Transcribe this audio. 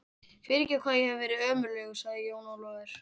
Fyrirgefðu hvað ég hef verið ömurlegur, sagði Jón Ólafur.